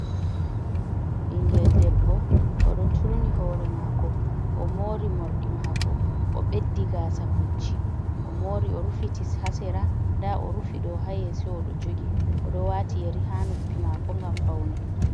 Ɓingel debbo oɗo turni hore mako o mori morɗi mako o ɓeddi gasa pucci o mori o rufiti ha sera nda o rufi ɗo ha yeso o ɗo jogi o ɗo wati yeri ha nuppi mako ngam paune.